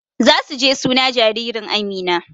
Zasu je suna jaririn Amina